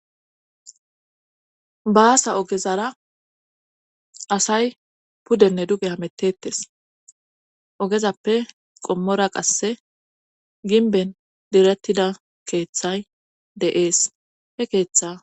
baasa ogezara asay puddenne duge hametettes ogezappe qommora qasse ginben direttida keeththay de'ees he keeththa